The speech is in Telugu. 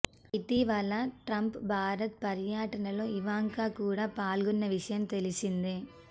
ఇటీవల ట్రంప్ భారత్ పర్యటనలో ఇవాంక కూడా పాల్గొన్న విషయం తెలిసిందే